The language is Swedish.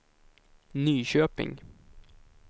Nyköping